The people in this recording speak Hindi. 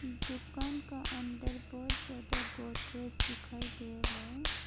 दुकान का अंदर बहुत ज्यादा को गोदरेज दिखाई दे रहा है।